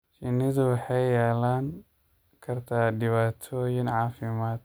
Shinnidu waxay yeelan kartaa dhibaatooyin caafimaad.